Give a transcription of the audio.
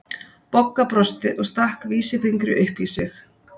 Bogga brosti og stakk vísifingri upp í sig.